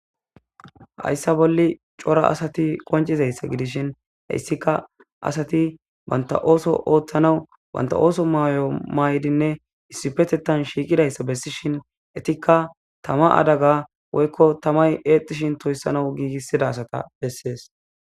Hayssa bolli cora asati qoncizayssa gidishin hayssika asati banta ooso ooththanawu banta ooso mayo may'dinne issipetetan shiiqidayssa bessishin etikka tama adaga woykko tamay eextishin toyssana giigissida asata bessees.